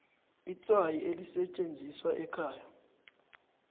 itswayi elisetjenziswa ekhaya